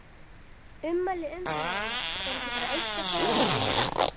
Ummæli umferðarinnar: Er ekki bara eitt að segja við Sigga?